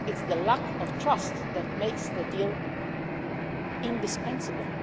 It is the lack of trust that makes the deal indispensable.